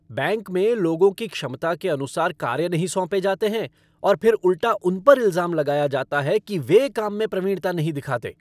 Bank में लोगों की क्षमता के अनुसार कार्य नहीं सौंपें जाते हैं और फिर उल्टा उन पर इल्ज़ाम लगाया जाता है कि वे काम में प्रवीणता नहीं दिखाते।